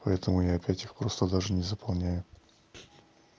поэтому я опять их просто даже не заполняю